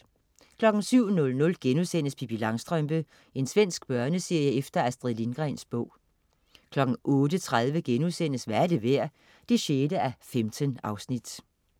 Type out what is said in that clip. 07.00 Pippi Langstrømpe.* Svensk børneserie efter Astrid Lindgrens bog 08.30 Hvad er det værd? 6:15*